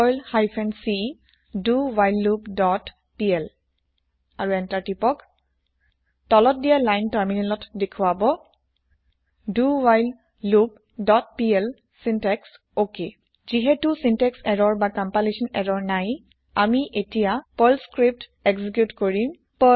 Perl hyphen c do while loop dot PL আৰু enter টিপক তলত দিয়া লাইন তাৰমিনেলত দেখোৱাব dowhileloopপিএল চিন্টেক্স অক যিহেটো চিন্তেক্স এৰৰ না কম্পাইলেচ্যন এৰৰ নায় আমি এতিয়া পাৰ্ল স্ক্ৰিপ্ত এক্জিক্যুত কৰিম